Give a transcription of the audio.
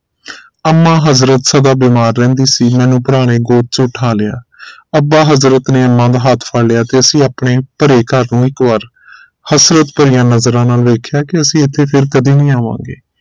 ਅੰਮਾ ਹਜ਼ਰਤ ਸਦਾ ਬੀਮਾਰ ਰਹਿੰਦੀ ਸੀ ਜਿਨ੍ਹਾਂ ਨੂੰ ਭਰਾ ਨੇ ਗੋਦ ਚ ਉਠਾ ਲਿਆ ਅੱਬਾ ਹਜ਼ਰਤ ਨੇ ਅੰਮਾ ਦਾ ਹੱਥ ਫੜ ਲਿਆ ਤੇ ਅਸੀਂ ਆਪਣੇ ਭਰੇ ਘਰ ਨੂੰ ਇਕ ਵਾਰ ਹਸਰਤ ਭਰਿਆ ਨਜ਼ਰਾਂ ਨਾਲ ਵੇਖਿਆ ਕਿ ਅਸੀਂ ਇਥੇ ਫਿਰ ਕਦੇ ਨੀ ਆਵਾਂਗੇ